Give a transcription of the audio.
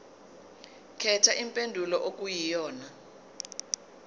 khetha impendulo okuyiyona